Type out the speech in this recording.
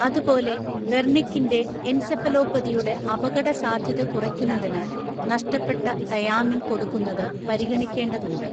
അതുപോലെ, വെർണിക്കിന്റെ എൻസെഫലോപ്പതിയുടെ അപകടസാധ്യത കുറയ്ക്കുന്നതിന് നഷ്ടപ്പെട്ട തയാമിൻ കൊടുക്കുന്നത് പരിഗണിക്കേണ്ടതുണ്ട്.